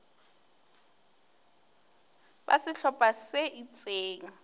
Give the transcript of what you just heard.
ba sehlo pha se itseng